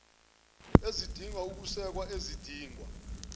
ezidinga ukusekwa ezidingwa